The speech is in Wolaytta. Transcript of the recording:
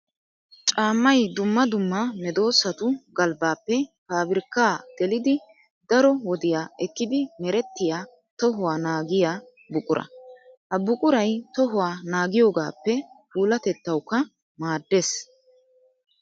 Caammay dumma dumma meedosattu galbbappe pabirkka geliddi daro wodiya ekkiddi merettiya tohuwaa naagiya buqura. Ha buquray tohuwa naagiyoogappe puulatettawukka maadees.